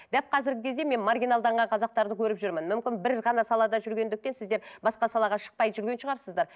дәп қазіргі кезде мен маргиналданған қазақтарды көріп жүрмін мүмкін бір ғана салада жүргендіктен сіздер басқа салаға шықпай жүрген шығарсыздар